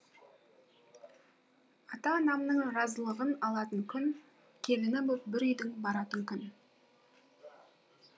ата анамның разылығын алатын күн келіні боп бір үйдің баратын күн